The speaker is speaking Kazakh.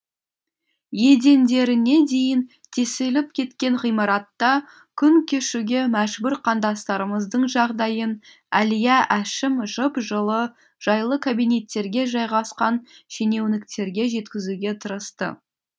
едендеріне дейін тесіліп кеткен ғимаратта күн кешуге мәжбүр қандастарымыздың жағдайын әлия әшім жып жылы жайлы кабинеттерге жайғасқан шенеуніктерге жеткізуге тырысты